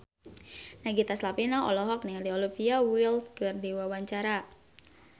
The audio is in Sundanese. Nagita Slavina olohok ningali Olivia Wilde keur diwawancara